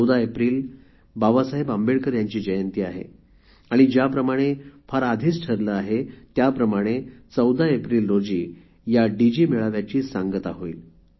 १४ April Babasaheb Ambedkar यांची जयंती आहे आणि फार आधी ठरल्याप्रमाणे १४ एप्रिल रोजी ह्या डिजि मेळाव्याची सांगता होईल